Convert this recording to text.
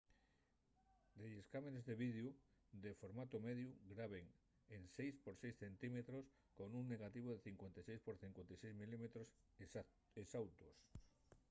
delles cámares de videu de formatu mediu graben en 6 por 6 cm con un negativu de 56 por 56 mm exautos